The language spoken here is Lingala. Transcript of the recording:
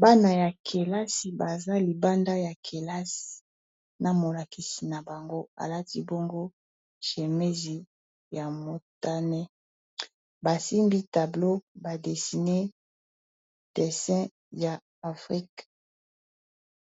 bana ya kelasi baza libanda ya kelasi na molakisi na bango alati bongo cemesi ya motane basimbi tableo badessine desin ya afrika